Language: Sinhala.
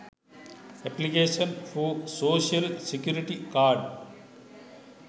application for social security card